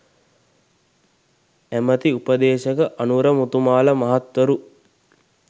ඇමැති උපදේශක අනුර මුතුමාල මහත්වරු